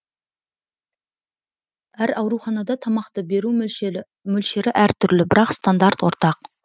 әр ауруханада тамақты беру мөлшері әртүрлі бірақ стандарт ортақ